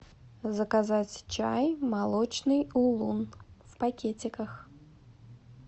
заказать чай молочный улун в пакетиках